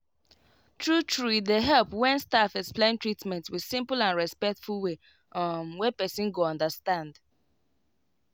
true true e dey help when staff explain treatment with simple and respectful way um wey person go understand.